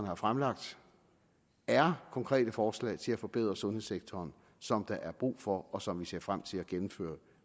har fremlagt er konkrete forslag til at forbedre sundhedssektoren som der er brug for og som vi ser til frem til at gennemføre